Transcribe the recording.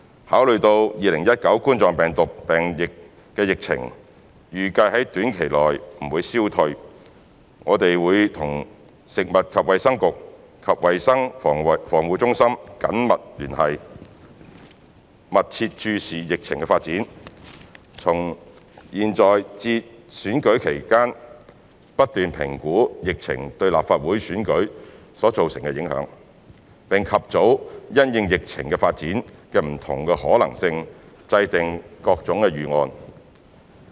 考慮到2019冠狀病毒病疫情預計在短期內不會消退，我們會與食物及衞生局及衞生防護中心緊密聯絡，密切注視疫情的發展，從現在至選舉舉行期間不斷評估疫情對立法會選舉所造成的影響，並及早因應疫情發展的不同可能性，制訂各種預案。